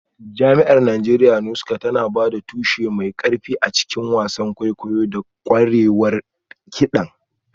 Jami'ar Najeriya Nsukka tana ba da tushe mai ƙarfi a cikin wasan kwaikwayo da ƙwarewar kiɗan.